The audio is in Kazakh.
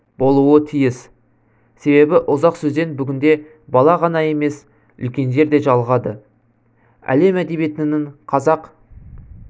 болуы тиіс себебі ұзақ сөзден бүгінде бала ғана емес үлкендер де жалығады әлем әдебиетінің қазақ